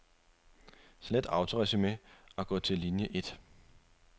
Slet autoresumé og gå til linie et.